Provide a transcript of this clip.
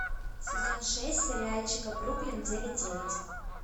сезон шесть сериальчика бруклин девять девять